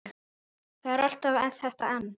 Það er alltaf þetta en.